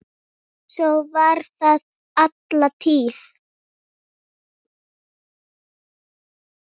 Svo var það alla tíð.